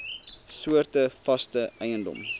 soorte vaste eiendom